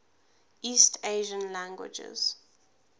east asian languages